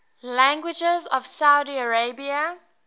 languages of saudi arabia